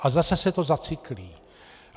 A zase se to zacyklí.